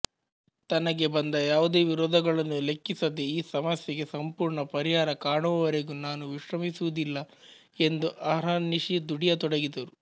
ತನಗೆ ಬಂದ ಯಾವುದೇ ವಿರೋಧಗಳನ್ನೂ ಲೆಖ್ಖಿಸದೆ ಈ ಸಮಸ್ಯೆಗೆ ಸಂಪೂರ್ಣ ಪರಿಹಾರ ಕಾಣುವವರೆಗೂ ನಾನು ವಿಶ್ರಮಿಸುವುದಿಲ್ಲ ಎಂದು ಅಹರ್ನಿಶಿ ದುಡಿಯತೊಡಗಿದರು